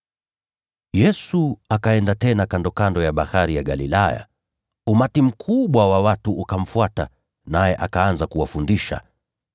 Yesu akaenda tena kandokando ya Bahari ya Galilaya. Umati mkubwa wa watu ukamfuata, naye akaanza kuwafundisha.